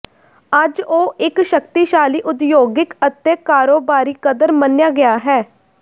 ਅੱਜ ਉਹ ਇੱਕ ਸ਼ਕਤੀਸ਼ਾਲੀ ਉਦਯੋਗਿਕ ਅਤੇ ਕਾਰੋਬਾਰੀ ਕਦਰ ਮੰਨਿਆ ਗਿਆ ਹੈ